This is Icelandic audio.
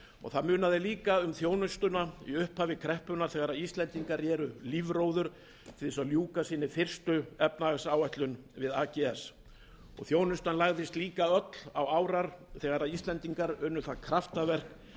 það munaði líka um þjónustuna í upphafi kreppunnar þegar íslendingar reru lífróður til að ljúka sinni fyrstu efnahagsáætlun við ags þjónustan lagðist líka öll á árar þegar íslendingar unnu það kraftaverk